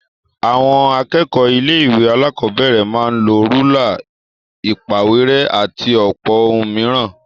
Àwọn akẹ́kọ̀ọ́ ilé-ìwé alákọ̀ọ́bẹ̀rẹ̀ máa ń lọ rúlà, ìpàwérẹ́, àti ọ̀pọ̀ ohun mìíràn.